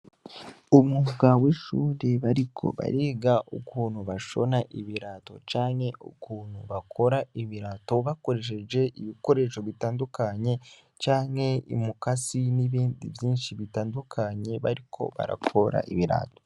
Umwuga w'ishure bariko bariga ukuntu bashona ibirato canke ukuntu bakora ibirato bakoresheje ibikoresho bitandukanye canke umukasi n'ibindi vyinshi bitandukanye bariko barakora ibirato.